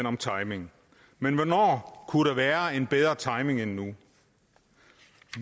om timing men hvornår kunne der være en bedre timing end nu